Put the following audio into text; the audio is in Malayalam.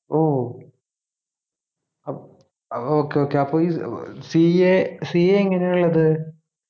ഓ അപ് okay okay അപ്പൊ ഈ ഏർ CACA എങ്ങനെയള്ളത്